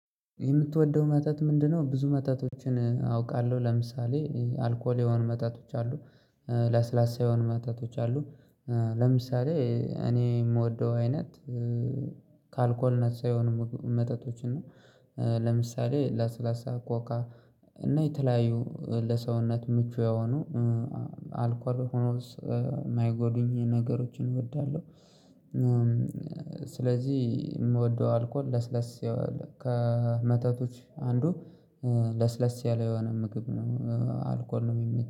የምትወደው መጠጥ ምንድነው?" ብዙ መጠጦችን አውቃለሁ፣ ለምሳሌ አልኮል የሆኑ መጠጦች አሉ። ለስላሳ የሆኑ መጠጦች አሉ ለምሳሌ እኔ የምወደው አይነት ከአልኮልነት ሳይሆን መጠጦችን ነው። ለምሳሌ ለስላሳ ኮካ እና የተለያዩ ለሰውነት ምቹ የሆኑ አልኳል ሆኖ የማይጎዱኝ ነገሮችን እወዳለሁ ስለዚህ የምወደው አልኮል ለስለስ ከመጠጦች አንዱ ለስለስ ያለ የሆነ ምግብ ነው አልኮል ነው የሚመቸው